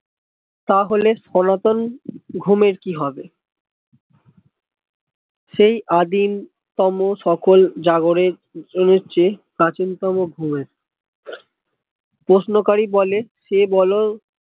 তাহলে সনাতন ঘুমের কি হবে সেই আদিম তম সকল জাগোরে এগোচ্ছে প্রাচীনতম ঘুমে প্রশ্নকারী বলে সে বোলো